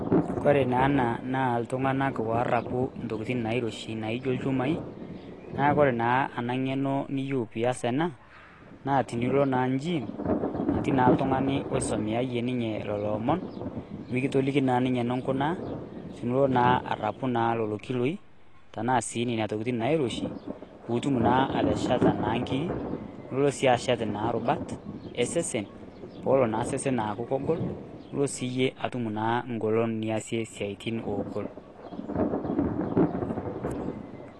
kore naa ana naa iltung'anak worrapu intokiting nairoshi naijio ilchumai naku ore naa ena ng'eno niyieu piyas ena naa tinilo naa injim natii naa iltung'ani oisomeayie ninye lolo omon mikitoliki naa ninye enunkunaa tenulo naa arrapu naa lolo kiloi tanaa sii nena tokitin nairoshi putum naa atesheta naa inkiri nulo sii ashet naa irubat esesen polo naa sesen aaku kogol nulo siiyie atum naa ngolon niasie naa siaitin ogol.